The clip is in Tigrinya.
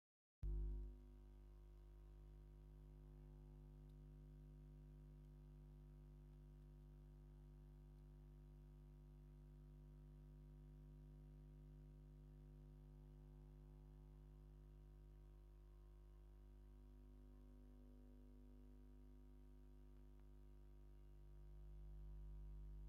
ዘደንቕን ውቁብን ምርኢት ፋሽን! ሓንቲ ጽብቕቲ ሞዴል ባህላዊ ግን ከኣ ዘመናዊ ጻዕዳ ክዳን ተኸዲና ኣብ መውረዲ ነፈርቲ ትኸይድ። እቲ ክዳን ጽቡቕ ሰማያውን ኣራንሺን ጥልፊ ኣለዎ። ኣብ መንኵባ ጻዕዳ ቆቢዕ/ቆቢዕ ተሸፊኑ ኣሎ።